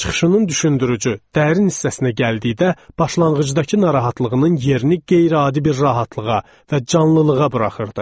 Çıxışının düşündürücü, dərin hissəsinə gəldikdə, başlanğıcdakı narahatlığının yerini qeyri-adi bir rahatlığa və canlılığa buraxırdı.